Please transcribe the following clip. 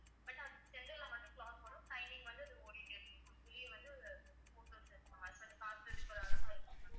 but அது center ல மட்டும் clock வரும் timing வந்து அது ஓடிட்டே இருக்கும் உங்களுக்குள்ளயே வந்து photos இருக்கும் அது கொஞ்சம் பாக்கறதுக்கு ஒரு அழகா இருக்கும் ma'am